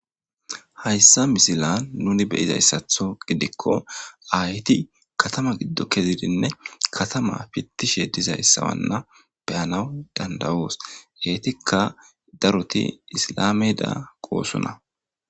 Hasa misile nu be,ida mala gidiko ayeti kathama gido ke,idinne kathama pitishe dizayisanne beyanwu dandayos etika daroti isilame danatosona